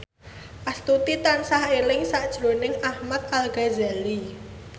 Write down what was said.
Astuti tansah eling sakjroning Ahmad Al Ghazali